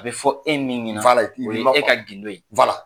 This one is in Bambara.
A bɛ fɔ e min ɲɛna, o ye e ka gndo ye.